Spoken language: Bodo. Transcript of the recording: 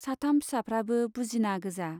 साथाम फिसाफ्राबो बुजिना गोजा।